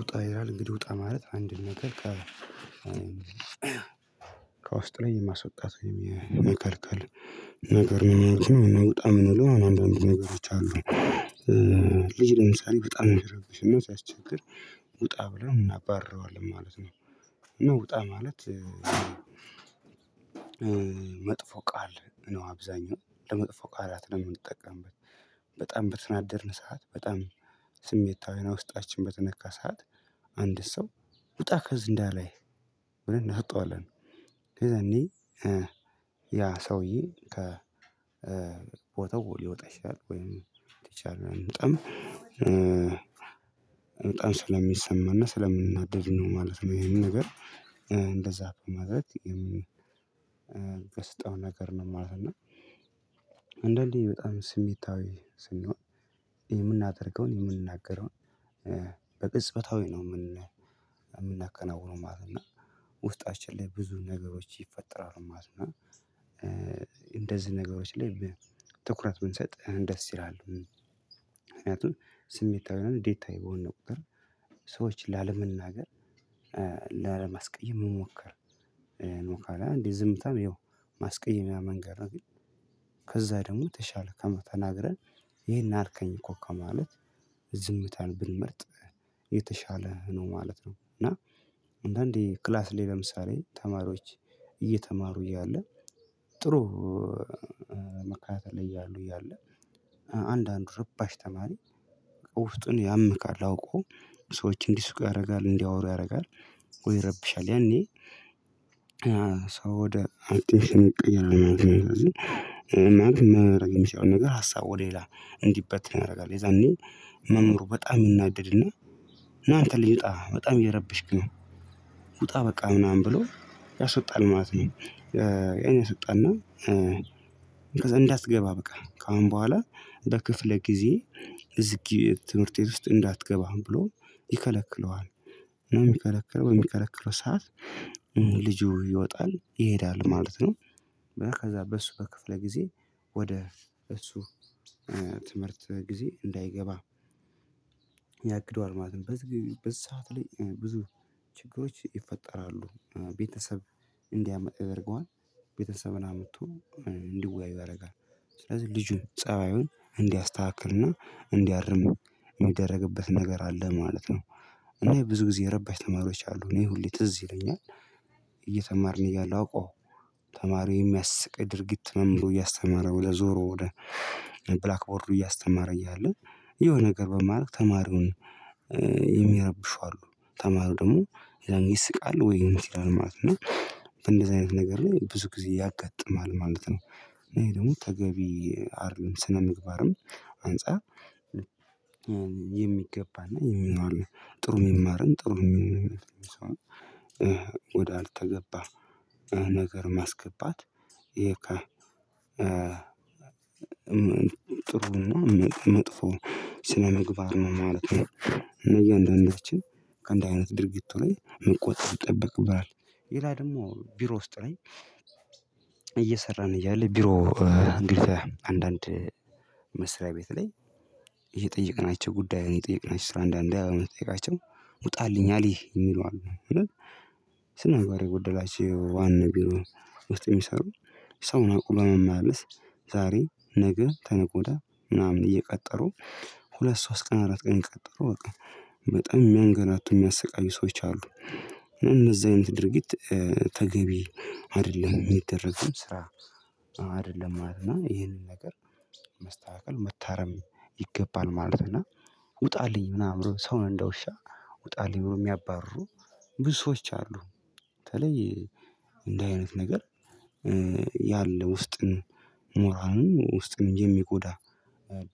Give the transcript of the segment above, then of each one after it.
ውጣ ይላል እንግዲህ ውጣ ማለት አንድን ነገር ከውስጥ ላይ የማስወጣት የመከልከል ነገር ምን ያህል እኔ በጣም ነው አንዳንድ ነገሮች አሉ። ልጅ ለምሳሌ በጣም ነው የሚረብሽና ሲያስቸግር ውጣ ብለው እናባርረዋለን ማለት ነው። እና ውጣ ማለት መጥፎ ቃል ነው። አብዛኛው ለመጥፎ ቃላት ነው የምንጠቀምበት። በጣም በተናደድን ሰዓት በጣም ስሜታዊና ውስጣችን በተነካ ሰዓት አንድን ሰው ውጣ ከዚህ እንዳላይ ብለን እናስወጣዋለን። ከዛ ያኔ ያሰውዬ ከቦታው ሊወጣ ይችላል ወይም ቲች አድርገን እንጠም በጣም በጣም ስለሚሰማና ስለምንናደድ ነው ማለት ነው። ይሄንን ነገር እንደዛ በማድረግ የምከስተው ነገር ነው ማለት ነው። እና አንዳንዴ በጣም ስሜታዊ ስንሆን የምናደርገውን የምንናገረውን በቅጽበታዊ ነው የምን የምናከናውነው ማለት ነው። እና ውስጣችን ላይ ብዙ ነገሮች ይፈጠራሉ ማለት ነው። እና እንደዚህ ነገሮች ላይ ትኩረት ብንሰጥ ደስ ይላል። ምክንያቱም ስሜታዊ እና ንዴታዊ በሆነን ቁጥር ሰዎችን ላለመናገር ላለማስቀየም መሞከር ነው ካልያ እንዴ ዝምታም ያው ማስቀየሚያ መንገድ ነው። ግን ከዛ ደግሞ ተሻለ ተናገርን ይሄን አልከኝ እኮ ከማለት ዝምታን ብንመርጥ የተሻለ ነው ማለት ነው። እና አንዳንዴ ክላስ ላይ ለምሳሌ ተማሪዎች እየተማሩ እያለ ጥሩ መከታተል ላይ እያሉ እያለ አንዳንድ ርባሽ ተማሪ ያምክል አውቀው ሰዎች እንዲስቁ ያደርጋል እንዲያወሩ ያደርጋል ዎይ ይረብሻል ያኔ የሰው አቲሽን ይቀየራል ነው የማለት ነው። ማለት ነው የማደርገው ሲሆን ነገር ሀሳብ ወደ ሌላ እንዲበትን ያደርጋል የዛኔ መምህሩ በጣም የምናደድና እናንተ ልዩጣ በጣም እየረበሽክ ነው ውጣ በቃ ምናምን ብሎ ያሰወጣል ማለት ነው። አይነት ሰጠና ስጠና እንዳትገባ በቃ ከአሁን በኋላ በክፍለ ጊዜዬ እዚህ ትምህርት ቤት ውስጥ እንዳትገባም ብሎ ይከለክለዋል። የሚከለከለው የሚከለከለው ሰዓት ልጁ ይወጣል ይሄዳል ማለት ነው። ከዛ በእሱ በክፍለ ጊዜ ወደ እሱ ትምህርት ጊዜ እንዳይገባ ያግደዋል ማለት ነው። በዚህ በዚህ ሰዓት ላይ ብዙ ችግሮች ይፈጠራሉ ቤተሰብ እንዲያመጣ ያደርገዋል ቤተሰብን አምጥቶ እንዲወያዩ ያደርጋል ስለዚህ ልጁን ፀባዩን እንዲያስተካክልና እንዲያርም የሚደረግበት ነገር አለ ማለት ነው። እና ብዙ ጊዜ የረባሽ ተማሪዎች አሉ እና ሁሌ ትዝ ይለኛል። እያሉ አውቀው ተማሪው የሚያስቅ ድርጊት መምህሩ እያስተማረው ለዞሮ ወደ ብላክ ቦርዱ እያስተማረ እያለ የሆነ ነገር በማድረግ ተማሪውን የሚያረብሹ አሉ ተማሪው ደግሞ የዛን ይስቃሉ ወይ ይመስላል ማለት ነው። እንደዚህ አይነት ነገር ላይ ብዙ ጊዜ ያጋጥማል ማለት ነው። እኔ ደግሞ ተገቢ አይደለም ስነምግባርም አንፃር የሚገባና የሚለው ጥሩ የሚማረን ጥሩ የሚሆን ወደ አልተገባ ነገር ማስገባት የካ ጥሩ መጥፎ ስለመግባር ነው ማለት ነው። እነዚህ አንዳንዳችን ከእንደዚህ አይነት ድርጊቱ ላይ መቆጠብ ይጠበቅብሃል። ይላ ደግሞ ቢሮ ውስጥ ላይ እየሰራን እያለ ቢሮ እንዴት አንዳንድ መስሪያ ቤት ላይ እየጠየቅናቸው ጉዳይ የጠየቅናቸው ስራ አንዳንዴ አዎ የምትጠይቃቸው ውጣልኛል ይህ የሚሉ አሉ። ስነምግባር የጎደላቸው ዋና ቢሮ ውስጥ የሚሰሩ ሰውን አቅሎ ማመላለስ ዛሬ ነገ ከነገ ወድያ ምናምን እየቀጠሩ ሁለት ሶስት ቀን አራት ቀን ይቀጥሩ አወቀ በጣም መንገድ አቶ የሚያሰቃዩ ሰዎች አሉ። እነዛ አይነት ድርጊት ተገቢ አይደለም የሚደረግም ስራ አይደለም ማለት ነው። ይሄንን ነገር መስተካከል መታረም ይገባል ማለት ነው። እና ውጣልኝ ምናምን ሰው እንደውሻ ውጣልኝ ብሎ የሚያባርሩ ብዙ ሰዎች አሉ በተለይ እንደ አይነት ነገር ያለ ውስጥን ሞራልን ውስጥን የሚጎዳ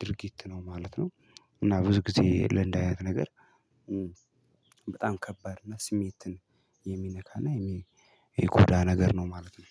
ድርጊት ነው ማለት ነው። እና ብዙ ጊዜ ለእንድ አነት ነገር በጣም ከባድ ነው ስሜትን የሚነካና የሚጎዳ ነገር ነው ማለት ነው።